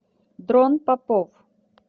дрон попов